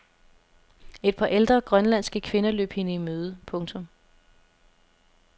Et par ældre grønlandske kvinder løb hende i møde. punktum